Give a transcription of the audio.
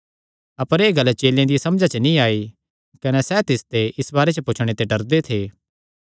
अपर एह़ गल्ल चेलेयां दिया समझा च नीं आई कने सैह़ तिसते इस बारे च पुछणे ते डरदे थे